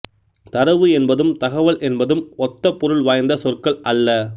தரவு என்பதும் தகவல் என்பதும் ஒத்தபொருள் வாய்ந்த சொற்கள் அல்ல